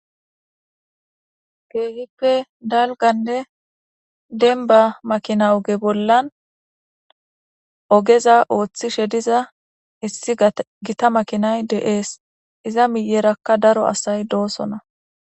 Keehippe dalgganne demba makina oge bollan ogeza ooththishe diza issi gita makinay de'es iza miyerakka daro asay doosona.